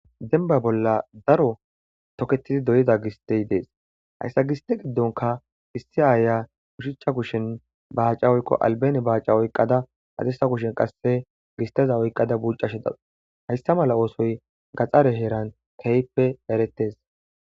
Denba bolla daro toketidi doyiza gistey dees hayssa giste giddonka issi aaya kushichcha kushen baaca oyqo albane baaca oyqqada adesa kushen qasse gisteza oyqqada buccashe da hayssa mala oosoy gaxare heeran keyppe eretes.